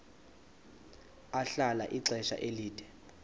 ahlala ixesha elide